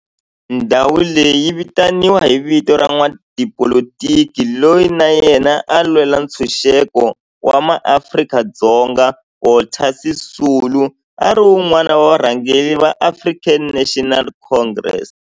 Ndhawo leyi yi vitaniwa hi vito ra n'watipolitiki loyi na yena a lwela ntshuxeko wa maAfrika-Dzonga Walter Sisulu, a ri wun'wana wa varhangeri va African National Congress, ANC.